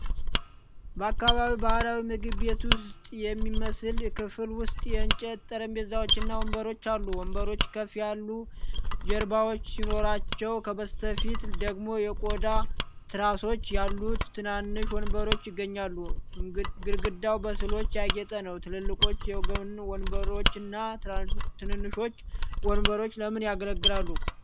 በአካባቢው ባህላዊ ምግብ ቤት ውስጥ የሚመስል ክፍል ውስጥ የእንጨት ጠረጴዛዎችና ወንበሮች አሉ። ወንበሮቹ ከፍ ያሉ ጀርባዎች ሲኖሯቸው፣ ከበስተፊት ደግሞ የቆዳ ትራሶች ያሉት ትናንሽ ወንበሮች ይገኛሉ። ግድግዳው በሥዕሎች ያጌጠ ነው። ትላልቆቹ የጎን ወንበሮችና ትንንሾቹ ወንበሮች ለምን ያገለግላሉ?